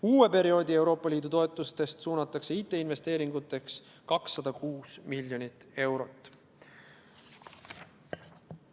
Euroopa Liidu uue eelarveperioodi toetustest suunatakse IT-investeeringutesse 206 miljonit eurot.